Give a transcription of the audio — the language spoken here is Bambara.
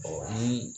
ni